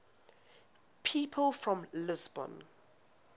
people from lisbon